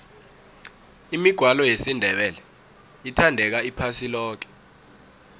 imigwalo yesindebele ithandeka iphasi loke